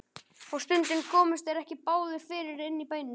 Og stundum komust þeir ekki báðir fyrir inni í bænum.